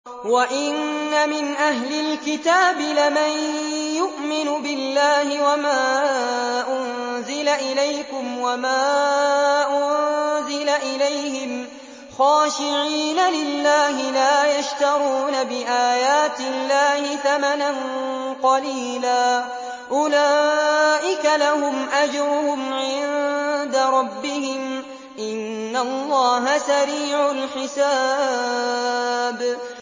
وَإِنَّ مِنْ أَهْلِ الْكِتَابِ لَمَن يُؤْمِنُ بِاللَّهِ وَمَا أُنزِلَ إِلَيْكُمْ وَمَا أُنزِلَ إِلَيْهِمْ خَاشِعِينَ لِلَّهِ لَا يَشْتَرُونَ بِآيَاتِ اللَّهِ ثَمَنًا قَلِيلًا ۗ أُولَٰئِكَ لَهُمْ أَجْرُهُمْ عِندَ رَبِّهِمْ ۗ إِنَّ اللَّهَ سَرِيعُ الْحِسَابِ